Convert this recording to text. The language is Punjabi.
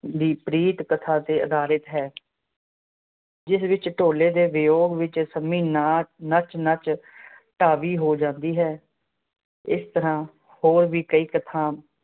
ਦੀ ਪ੍ਰੀਤ ਕਥਾ ਤੇ ਅਧਾਰਿਤ ਹੈ, ਜਿਸ ਵਿੱਚ ਢੋਲੇ ਦੇ ਵਿਯੋਗ ਵਿੱਚ ਸੰਮੀ ਨਾਚ ਨੱਚ ਨੱਚ ਢਾਵੀ ਹੋ ਜਾਂਦੀ ਹੈ। ਇਸ ਤਰਾਂ ਹੋਰ ਵੀ ਕਈ ਕਥਾਂ